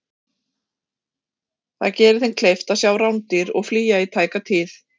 það gerir þeim kleift að sjá rándýr og flýja í tæka tíð